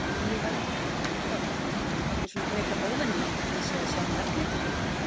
Lillý Valgerður: Dögg þetta er svona frekar óvenjulegt að þið séuð að sjá marglyttur hérna?